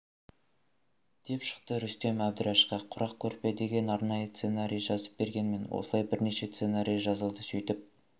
деп шықты рүстем әбдірәшқа құрақ көрпе деген арнайы сценарий жазып бергенмін осылай бірнеше сценарий жазылды сөйтіп